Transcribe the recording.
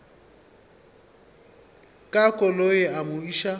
ka koloi a mo iša